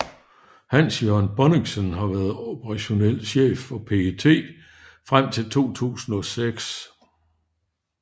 Hans Jørgen Bonnichsen har været operationel chef hos PET frem til 2006